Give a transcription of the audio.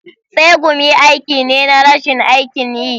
tsegumi aiki ne na rashin aikin yi.